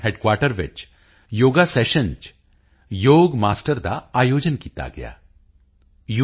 headquarter ਵਿੱਚ ਯੋਗ ਮਾਸਟਰਾਂ ਨਾਲ ਯੋਗ ਸੈਸ਼ਨ ਦਾ ਆਯੋਜਨ ਕੀਤਾ ਗਿਆ ਯੂ